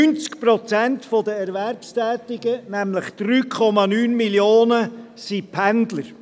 90 Prozent der Erwerbstätigen, nämlich 3,9 Millionen sind Pendler.